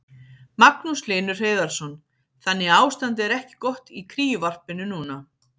Magnús Hlynur Hreiðarsson: Þannig að ástandið er ekki gott í kríuvarpinu núna?